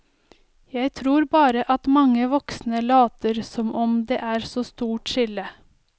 Jeg tror bare at mange voksne later som om det er så stort skille.